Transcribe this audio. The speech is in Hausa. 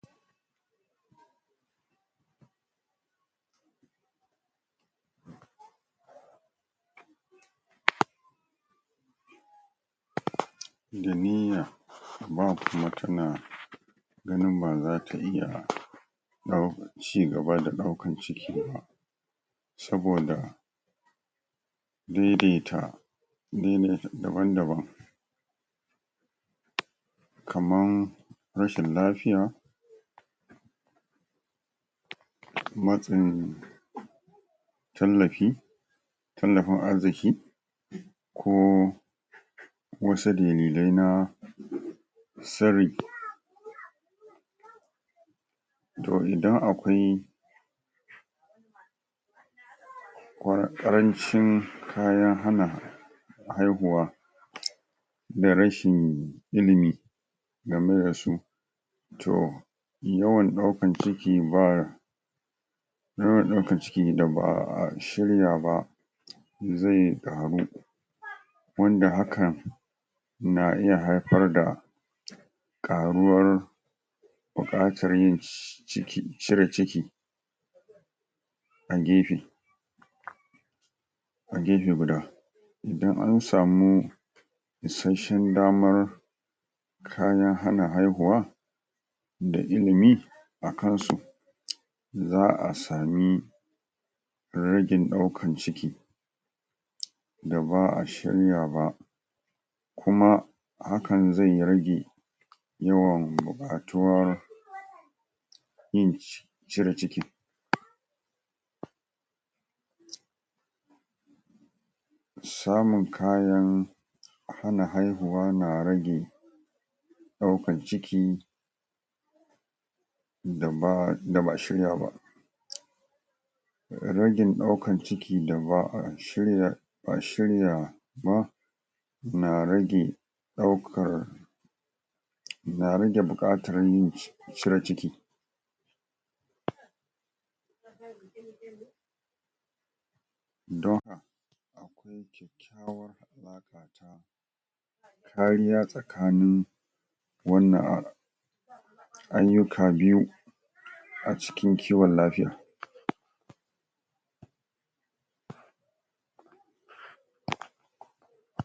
Da niyya ba mutumin in ba zata iya cigaba da ɗaukan ciki ba saboda daidaita jini daban-daban kaman rashin lafiya matsin tallafi tallafin arziki ko ko wasu dalilai na sirri to idan akwai ƙarancin kayan hana haihuwa da rashin ilimi game da su to yawan ɗaukan ciki ba yawan ɗaukan ciki da ba'a shirya ba zai ƙaru wanda hakan na iya haifar da ƙaruwar buƙatar cire ciki a gefe a gefe guda idan an samu isashen damar kayan hana haihuwa da ilimi a kan su za'a sami ragin ɗaukan ciki da ba'a shirya ba kuma hakan zai rage yawan buƙatuwa yin cire ciki samun kayan hana haihuwa na rage ɗaukan ciki da ba'a shirya ba ragin ɗaukan ciki da ba'a shirya ba na rage ɗaukar na rage buƙatan cire ciki don kariya tsakanin wannan ayyuka biyu a cikin kiwon lafiya.